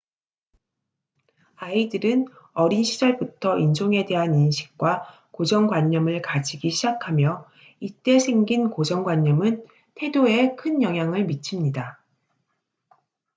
아이들은 어린 시절부터 인종에 대한 인식과 고정관념을 가지기 시작하며 이때 생긴 고정관념은 태도에 큰 영향을 미칩니다